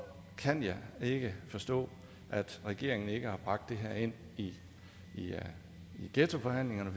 kan jeg ikke forstå at regeringen ikke har bragt det her ind i i ghettoforhandlingerne